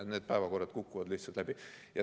Ja need päevakorrad kukuvad lihtsalt läbi.